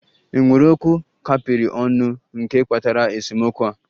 È nwere okwu a kapịrị ọnụ nke kpatara esemokwu a?